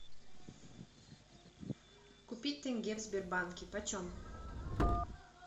купить тенге в сбербанке почем